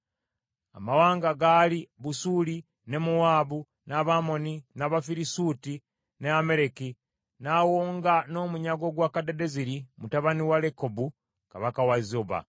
Amawanga gaali: Busuuli, ne Mowaabu, n’Abamoni, n’Abafirisuuti ne Amaleki; n’awonga n’omunyago gwa Kadadezeri, mutabani wa Lekobu, kabaka w’e Zoba.